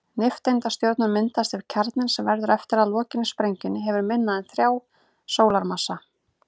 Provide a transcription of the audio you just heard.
Nifteindastjörnur myndast ef kjarninn, sem verður eftir að lokinni sprengingunni, hefur minna en þrjá sólarmassa.